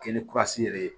Kɛ ni kurasi yɛrɛ ye